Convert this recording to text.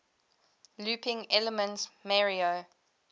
looping elements mario